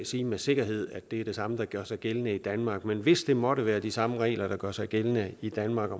sige med sikkerhed at det er det samme der gør sig gældende i danmark men hvis det måtte være de samme regler der gør sig gældende i danmark